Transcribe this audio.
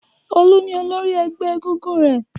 Olú ni olórí ẹgbẹ́ egúngún rẹ̀.